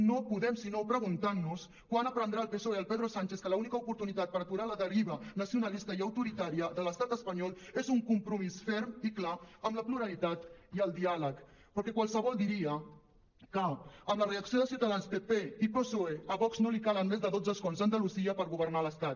no podem sinó preguntar nos quan aprendrà el psoe del pedro sánchez que l’única oportunitat per aturar la deriva nacionalista i autoritària de l’estat espanyol és un compromís ferm i clar amb la pluralitat i el diàleg perquè qualsevol diria que amb la reacció de ciutadans pp i psoe a vox no li calen més de dotze escons a andalusia per governar l’estat